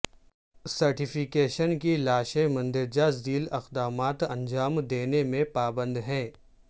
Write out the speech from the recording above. certification کی لاشیں مندرجہ ذیل اقدامات انجام دینے میں پابند ہیں